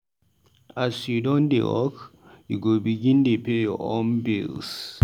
As you don dey work, you go begin dey pay your own bills.